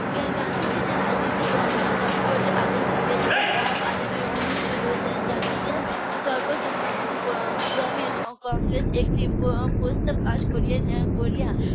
গান্ধীজি যে রাজনীতির ধর্মঘটে আদর্শ দিয়েছিলেন তা পালনের অনুরোধ জানিয়া সর্বসম্মতি ক্রমে কংগ্রেস একটি প্রস্তাব pass করে